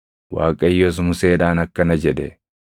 Waaqayyos Museedhaan akkana jedhe;